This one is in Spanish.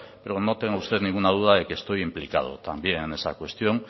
pero no tenga usted ninguna duda de que estoy implicado también en esa cuestión